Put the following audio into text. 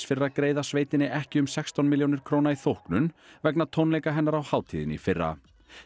fyrir að greiða sveitinni ekki um sextán milljónir króna í þóknun vegna tónleika hennar á hátíðinni í fyrra